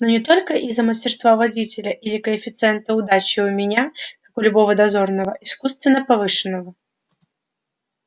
но не только из-за мастерства водителя или коэффициента удачи у меня как у любого дозорного искусственно повышенного